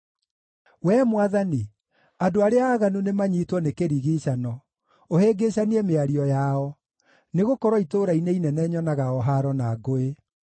Wee Mwathani, andũ arĩa aaganu nĩmanyiitwo nĩ kĩrigiicano, ũhĩngĩcanie mĩario yao, nĩgũkorwo itũũra-inĩ inene nyonaga o haaro na ngũĩ.